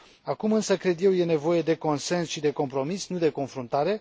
Acum însă, cred eu, este nevoie de consens și de compromis, nu de confruntare.